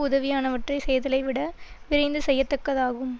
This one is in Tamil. உதவியானவற்றை செய்தலைவிட விரைந்து செய்யத்தக்கதாகும்